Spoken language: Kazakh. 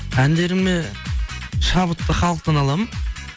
әндеріме шабытты халықтан аламын